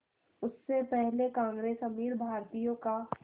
उससे पहले कांग्रेस अमीर भारतीयों का